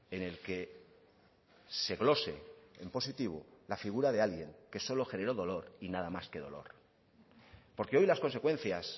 en el que se glose en positivo la figura de alguien que solo generó dolor y nada más que dolor porque hoy las consecuencias